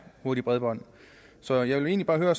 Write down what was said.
hurtigt bredbånd så jeg vil egentlig høre